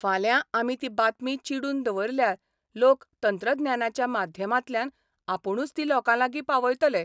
फाल्यां आमी ती बातमी चिडून दवरल्यार लोक तंत्रज्ञानाच्या माध्यमांतल्यान आपुणूच ती लोकांलागीं पावयतले.